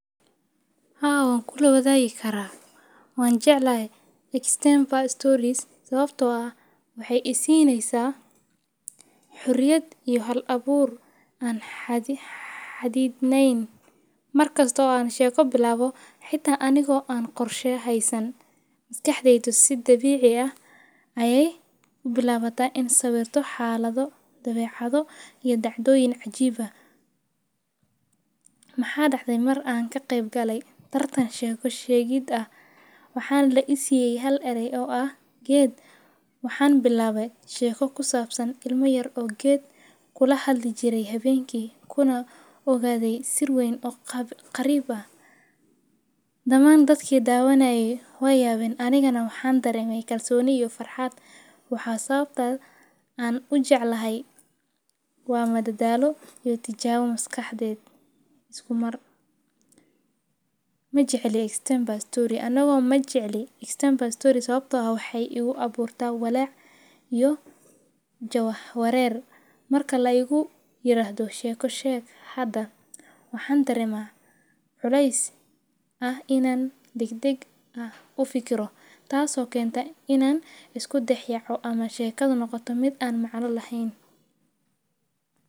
Ha awan kula wadaagi kara. waan jeclay Extempore Story sababtoo ah waxay siineysa xuriyad iyo hal abuur aan hadi xaddidnayn, markasta oo aan sheeko bilaabo xitaa anigo aan qorshe aysan. Maskaxdeedu si dabiici ah ayay ku bilaabata in sawirto xaallado, dabeecado iyo dacdooyin cajiiba. Maxaa dhaxday mar aan ka qeybgalay tartan sheeko sheegida ah waxaan la isiyay hal erey oo ah geed. Waxaan bilaabay sheeko ku saabsan ilmo yar oo geed kula hadli jiray habeenki kuna ogaaday sir wayn oo qariib ah. Dhammaan dadkii daawana ay way awan anigana waxaan dareemay galsooni iyo farxaad. Waxaa sababta aan u jeclahay. Waa mada daalo iyo tijaab maskaxdeed isku mar. Majecley Extempore Story anagoo majecley Extempore Story sababtoo ah waxay igu abuurto walaac iyo jawaax reer marka la igu yiraahdo sheeko sheeg hadda waxaan tarimaa culeys ah inaan degdeg ah u fikiro taasoo keenta inaan isku dhex yaco ama sheekad noqoto mid aan macano lahayn.